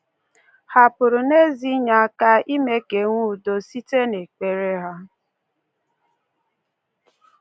Hà pụrụ n’ezie inye aka mee ka e nwee udo site n’ekpere ha?